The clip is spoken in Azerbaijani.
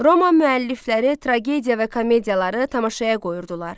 Roma müəllifləri tragediya və komediyaları tamaşaya qoyurdular.